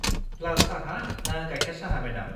लाल साहा ना गायखेर साहा, मेडाम?